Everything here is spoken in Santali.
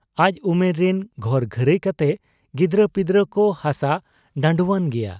ᱟᱡ ᱩᱢᱮᱨ ᱨᱤᱱ ᱜᱷᱚᱨ ᱜᱷᱟᱹᱨᱟᱹᱭ ᱠᱟᱛᱮ ᱜᱤᱫᱽᱨᱟᱹ ᱯᱤᱫᱽᱨᱟᱹ ᱠᱚ ᱦᱟᱥᱟ ᱰᱷᱟᱺᱰᱩᱣᱟᱱ ᱜᱮᱭᱟ ᱾